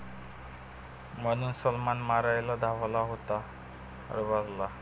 ...म्हणून सलमान मारायला धावला होता अरबाजला!